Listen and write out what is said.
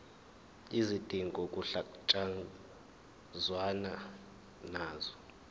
izidingo kuhlangatshezwane nazo